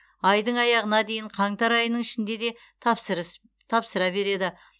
айдың аяғына дейін қаңтар айының ішінде де тапсыра береді